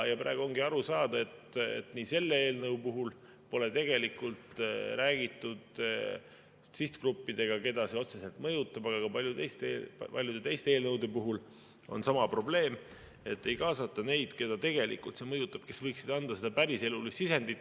Praegu ongi aru saada, et selle eelnõu puhul pole tegelikult räägitud sihtgruppidega, keda see otseselt mõjutab, aga ka paljude teiste eelnõude puhul on sama probleem, et ei kaasata neid, keda see mõjutab, kes võiksid anda seda päriselulist sisendit.